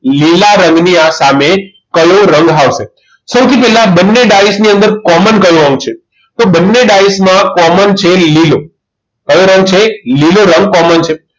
લીલા રંગની સામે કયો રંગ આવશે સૌથી પહેલા બંને ડાયસની અંદર common colour કયો છે તો બંને ડાયસમાં common છે લીલો કયો રંગ છે લીલો રંગ common છે